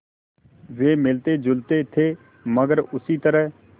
वे मिलतेजुलते थे मगर उसी तरह